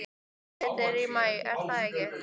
Úrslitin eru í maí er það ekki?